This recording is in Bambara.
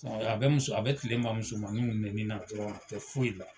A bɛ muso, a bɛ tile ban musomaninw nɛni na dɔrɔn a tɛ foyi la.